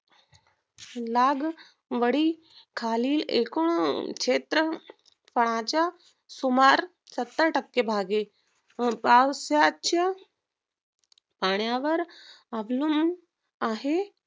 लागवडी खालील एकूण क्षेत्रफळाच्या सुमार सत्तर टक्के भागे पाऊसाचा पाण्यावर अवलंब आहे